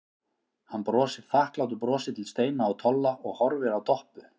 Hann brosir þakklátu brosi til Steina og Tolla og horfir á Doppu.